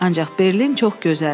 Ancaq Berlin çox gözəldir.